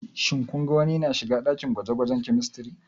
Shin kun ga wani yana shiga dakin gwaje-gwajen Chemistry?